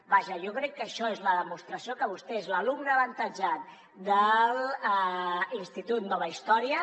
vaja jo crec que això és la demostració que vostè és l’alumne avantatjat de l’institut nova història